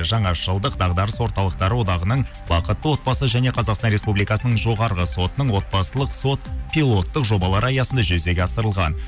жаңа жылдық дағдарыс орталықтар одағының бақытты отбасы және қазақстан республикасының жоғарғы сотының отбасылық сот пилоттық жобалар аясында жүзеге асырылған